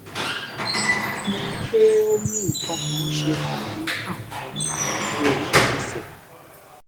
mo rí i pé ó ó ní nǹkan kan ṣe pẹlú àwọn àlàfo ẹsẹ